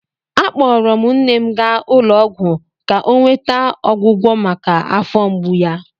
Akpọrọ m nne m gaa ụlọ ọgwụ ka ọ nweta ọgwọgwọ maka afọ mgbu ya.